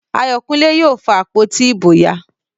Ayokunle yóò fa àpótí ìbò ya